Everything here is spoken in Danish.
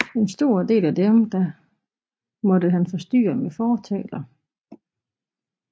En stor del af dem måtte han forsyne med fortaler